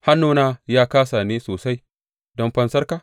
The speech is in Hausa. Hannuna ya kāsa ne sosai don fansarka?